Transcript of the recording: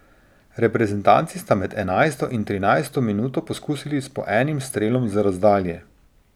Reprezentanci sta med enajsto in trinajsto minuto poskusili s po enim strelom z razdalje.